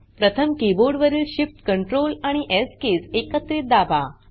प्रथम कीबोर्ड वरील shift Ctrl आणि स् किज एकत्रित दाबा